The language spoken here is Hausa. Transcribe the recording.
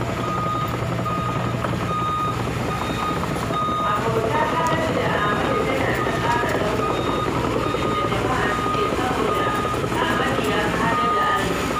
Abotar Haladu da Amadu tana ta ƙara danƙo duk surutun da jama'a suke saboda Ahmadu ya fi Haladu arziki